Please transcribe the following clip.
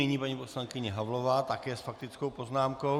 Nyní paní poslankyně Havlová také s faktickou poznámkou.